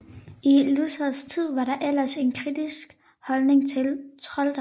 I Luthers tid var der ellers en kritisk holdning til trolddom